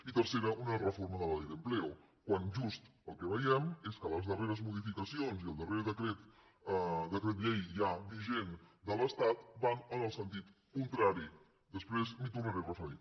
i tercera una reforma de la ley de empleo quan just el que veiem és que les darreres modificacions i el darrer decret llei ja vigent de l’estat van en el sentit contrari després m’hi tornaré a referir